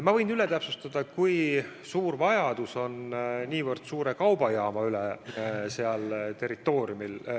Ma võin üle täpsustada, kui suur vajadus on niivõrd suure kaubajaama järele seal territooriumil.